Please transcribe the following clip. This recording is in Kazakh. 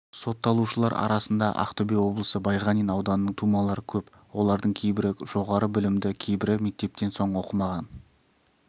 сотталушылар арасында ақтөбе облысы байғанин ауданының тумалары көп олардың кейбірі жоғары білімді кейбірі мектептен соң оқымаған